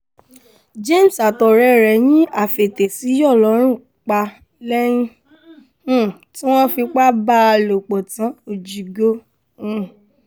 james àtọ̀rẹ́ ẹ̀ yín afetèsíyọ̀ lọ́run pa lẹ́yìn um tí wọ́n fipá bá a lò pọ̀ tán òjigo um